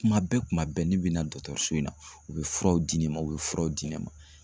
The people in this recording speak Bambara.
Kuma bɛɛ kuma bɛɛ n'i bɛna dɔgɔtɔrɔso in na u bɛ furaw di ne ma u bɛ furaw di ne ma.